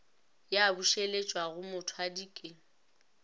ya bušeletšwa go mothwadi ke